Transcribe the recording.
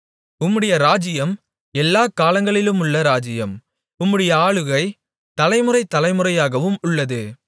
உம்முடைய ராஜ்ஜியம் எல்லாக் காலங்களிலுமுள்ள ராஜ்ஜியம் உம்முடைய ஆளுகை தலைமுறை தலைமுறையாகவும் உள்ளது